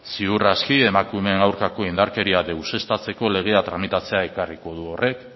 ziur aski emakumeen aurkako indarkeria deuseztatzeko legea tramitatzera ekarriko du horrek